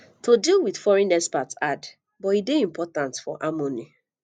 to deal with foreign expat hard but e dey important for harmony